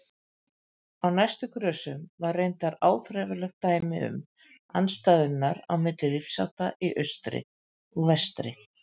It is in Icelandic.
Á næstu grösum var reyndar áþreifanlegt dæmi um andstæðurnar milli lifnaðarhátta í austri og vestri.